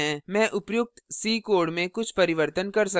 मैं उपर्युक्त c code में कुछ परिवर्तन कर सकता हूँ